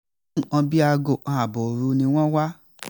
ní nǹkan bíi aago kan ààbọ̀ òru ni wọ́n wà